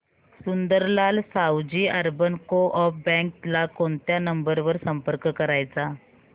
Sundarlal Savji urban co-op bank ला कोणत्या number वर संपर्क करायचा